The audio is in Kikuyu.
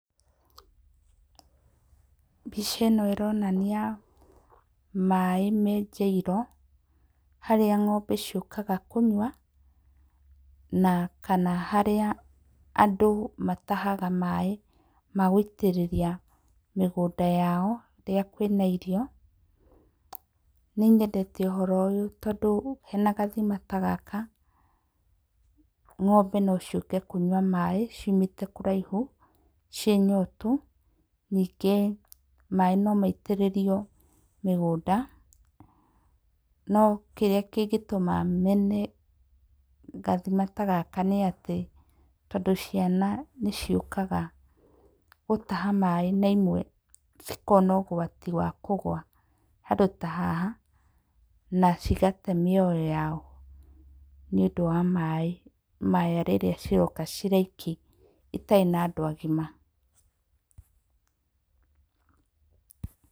Mbica ĩno ĩronania maĩ menjeirwo harĩa ng'ombe ciũkaga kũnyua na kana harĩa andũ matahaga maĩ ma gũitĩrĩria mĩgũnda yao rĩrĩa kwĩna irio. Nĩ nyendete ũhoro ũyũ tondũ hena gathima ta gaka, ng'ombe no ciũke kũnyua maĩ ciumĩte kũraihu ciĩ nyotu, ningĩ maĩ no maitĩrĩrio mĩgũnda, no kĩrĩa kĩngĩtũma mene gathima ta gaka nĩ atĩ, tondũ ciana nĩ ciũkaga gũtaha maĩ na imwe cikona ũgwati wa kũgũa handũ ta haha na cigate mĩoyo yao nĩũndũ wa maĩ maya rĩrĩa ciroka cirĩ aiki itarĩ na andũ agima.